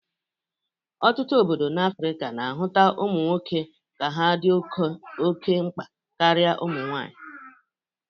Ọtụtụ obodo n'Afrika na-ahụta ụmụ nwoke ka ha dị oke mgba karị ụmụnwaanyị.